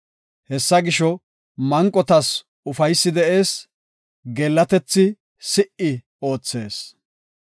Hessa gisho, manqotas ufaysi de7ees; geellatethi si77i oothees.”